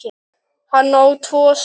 Hann á tvo syni.